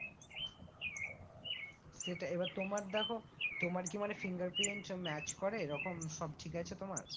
সেটাই এবার তোমার দেখো তোমার কি মানে finger print সব match করে এরকম সব ঠিক আছে তোমার?